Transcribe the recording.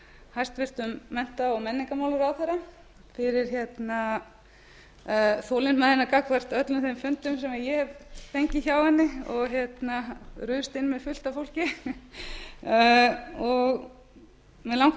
hæstvirtum mennta og menningarmálaráðherra fyrir þolinmæðina gagnvart öllum þeim fundum sem ég hef fengið hjá henni og ruðst inn með fullt af fólki og mig langar til